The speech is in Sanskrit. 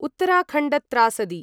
उत्तराखण्डत्रासदी